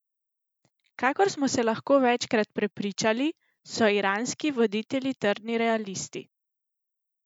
Kakor smo se lahko večkrat prepričali, so Iranski voditelji trdni realisti.